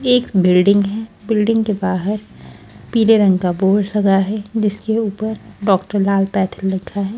एक बिल्डिंग है बिल्डिंग के बाहर पीले रंग का बोर्ड लगा है जिसके ऊपर डॉक्टर लाल पैथ लिखा है।